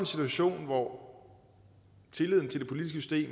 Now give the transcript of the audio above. situation hvor tilliden til det politiske